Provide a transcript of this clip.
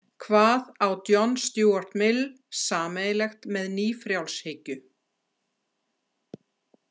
Hvað á John Stuart Mill sameiginlegt með nýfrjálshyggju?